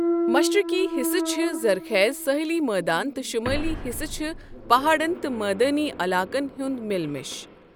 مشرقی حصہٕ چھِ زَرخیز سٲحلی مٲدان تہٕ شُمٲلی حصہٕ چھِ پہاڑن تہٕ مٲدانی علاقن ہُنٛد مِل مِش۔